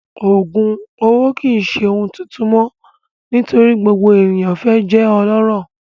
Oogun owo kii ṣe ohun tuntun mọ nitori gbogbo eniyan fẹ lati jẹ ọlọrọ